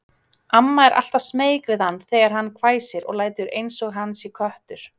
Mamma er alltaf smeyk við hann þegar hann hvæsir og lætur einsog hann sé köttur.